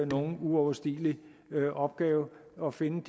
nogen uoverstigelig opgave at finde